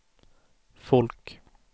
folk